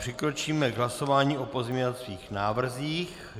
Přikročíme k hlasování o pozměňovacích návrzích.